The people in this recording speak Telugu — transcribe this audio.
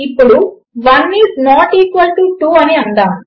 ఇప్పుడు 1 ఈస్ నాట్ ఈక్వల్ టు 2 అని అందాము